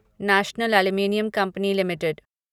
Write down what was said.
national aluminium company limited